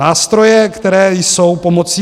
Nástroje, které jsou pomocí.